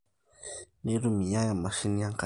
neitumiai emashini enkare